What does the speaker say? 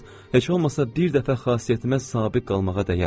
Yalnız heç olmasa bir dəfə xasiyyətimə sabit qalmağa dəyər.